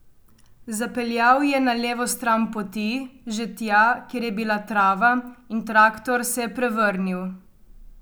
Zapeljal je na levo stran poti, že tja, kjer je bila trava in traktor se je prevrnil.